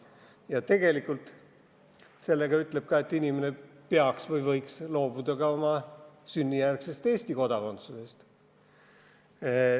Ja tegelikult ütleb seadus sellega ka seda, et inimene peaks loobuma või võiks loobuda ka oma sünnijärgsest Eesti kodakondsusest.